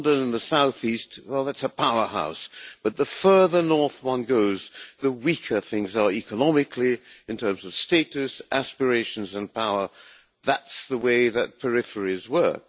London and the south east, well that's a powerhouse, but the further north one goes, the weaker things are economically, in terms of status, aspirations and power. That's the way that peripheries work.